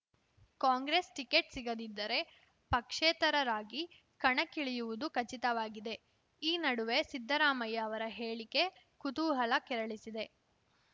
Congress ticket ಸಿಗದಿದ್ದರೆ ಪಕ್ಷೇತರರಾಗಿ ಕಣಕ್ಕಿಳಿಯುವುದು ಖಚಿತವಾಗಿದೆ ಈ ನಡುವೆ ಸಿದ್ದರಾಮಯ್ಯ ಅವರ ಹೇಳಿಕೆ ಕುತೂಹಲ ಕೆರಳಿಸಿದೆ